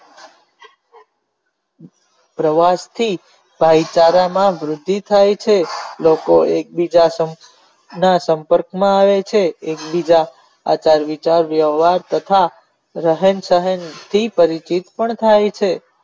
પ્રવાસ થી ભાઈ ચાર માં વૃદ્ધિ થાય છે લોકો એક બીજા ના સંપર્ક માં આવે છે એક બીજા સાથે વિચાર વ્યથા તથારહેન ચહેન થી પણ પરિચિત થાય છે.